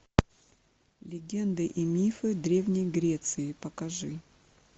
легенды и мифы древней греции покажи